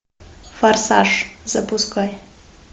форсаж запускай